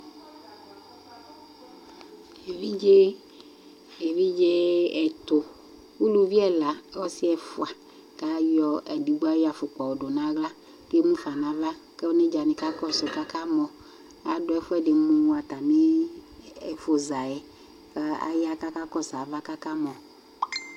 Evidze, evidze ɛtʋ, uluvi ɛla, ɔsι ɛfʋa, kʋ ayɔ, edigbo ayɔ afʋkpa yɔ dʋ nʋ aɣla, kʋ emʋ fa nʋ ava kʋ onedza nι ka kɔɛʋ yι kʋ aka mɔAdʋ ɛfʋ ɛdι mʋ atamι ɛfʋ za yɛ, kʋ aya kʋ aka kɔsʋ ava kʋ aka mɔ